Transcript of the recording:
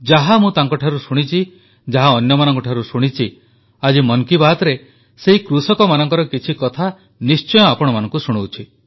ଯାହା ମୁଁ ତାଙ୍କଠାରୁ ଶୁଣିଛି ଯାହା ଅନ୍ୟମାନଙ୍କଠାରୁ ଶୁଣିଛି ଆଜି ମନ କୀ ବାତ୍ରେ ସେହି କୃଷକମାନଙ୍କର କିଛି କଥା ନିଶ୍ଚୟ ଆପଣମାନଙ୍କୁ ଶୁଣାଉଛି